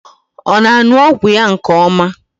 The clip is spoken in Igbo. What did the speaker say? Ọ na-aṅụ ọgwụ ya nke ọma?